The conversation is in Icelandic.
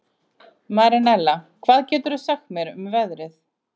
Marinella, hvað geturðu sagt mér um veðrið?